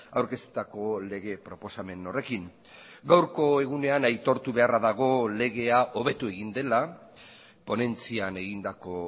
aurkeztutako lege proposamen horrekin gaurko egunean aitortu beharra dago legea hobetu egin dela ponentzian egindako